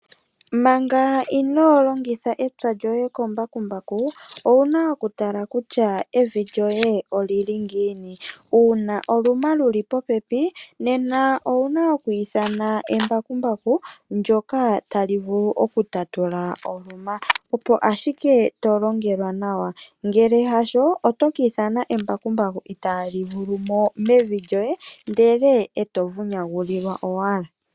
Manga ino longitha epya lyoye kembakumbaku owuna okutala evi lyoye olili ngiini. Uuna oluma lili popepi nena owuna oku ithana embakumbaku ndoka taluvulu oku tatula oluma opo ashike to longelwa nawa ngele haaho oto ki ithana embakumbaku italivulumo mevi lyoye ndele to vunyagulilwa owala.